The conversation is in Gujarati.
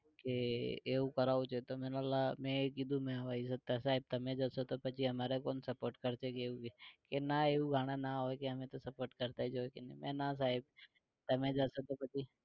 કે એવું કરાવું છે. તો મે બોલા, મેં કીધું મે સાહિબ તમે જશો તો પછી અમારે કોણ support કરશે કે ક્યે કે ના એવું ઘણા ના હોય ક્યે અમે તો support કરતાં જ હોય કે ના સાહેબ તમે જાશો તો પછી